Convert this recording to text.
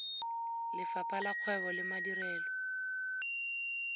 lefapha la kgwebo le madirelo